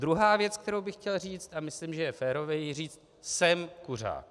Druhá věc, kterou bych chtěl říct, a myslím, že je férové ji říct: Jsem kuřák.